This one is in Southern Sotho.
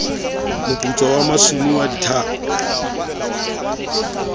moputswa sa masumu wa dithako